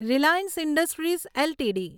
Reliance industries LTD